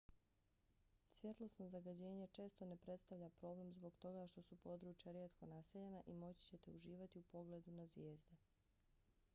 svjetlosno zagađenje često ne predstavlja problem zbog toga što su područja rijetko naseljena i moći ćete uživati u pogledu na zvijezde